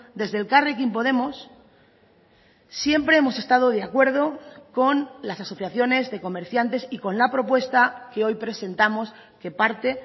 desde elkarrekin podemos siempre hemos estado de acuerdo con las asociaciones de comerciantes y con la propuesta que hoy presentamos que parte